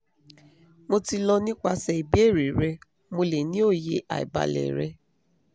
mo ti lọ nipasẹ ibeere rẹ mo le ni oye aibalẹ rẹ